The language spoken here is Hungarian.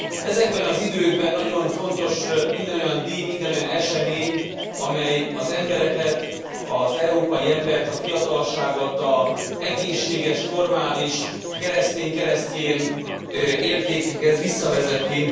Ezekben az időkben nagyon fontos minden olyan díj, minden olyan esemény, amely az embereket, az európai embert, a fiatalságot az egészséges, normális, keresztény, keresztyén értékekhez visszavezeti.